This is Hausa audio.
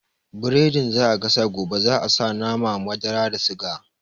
Biredin da za a gasa gobe za a sa nama, madara da suga